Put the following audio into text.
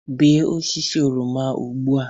Bee osisi oroma ugbu a